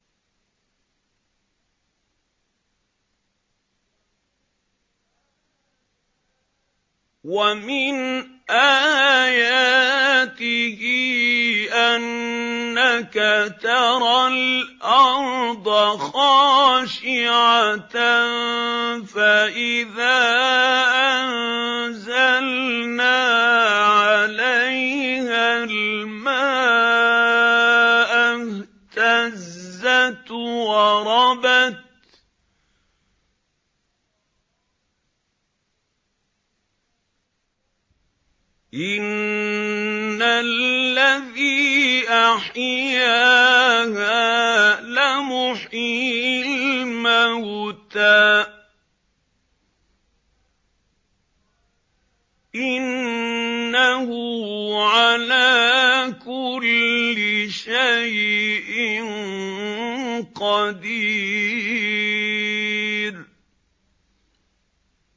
وَمِنْ آيَاتِهِ أَنَّكَ تَرَى الْأَرْضَ خَاشِعَةً فَإِذَا أَنزَلْنَا عَلَيْهَا الْمَاءَ اهْتَزَّتْ وَرَبَتْ ۚ إِنَّ الَّذِي أَحْيَاهَا لَمُحْيِي الْمَوْتَىٰ ۚ إِنَّهُ عَلَىٰ كُلِّ شَيْءٍ قَدِيرٌ